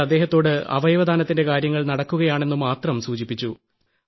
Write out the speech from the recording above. ഞങ്ങൾ അദ്ദേഹത്തോട് അവയവദാനത്തിന്റെ കാര്യങ്ങൾ നടക്കുകയാണ് എന്നുമാത്രം സൂചിപ്പിച്ചു